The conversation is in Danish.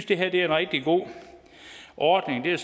det her er en rigtig god ordning det er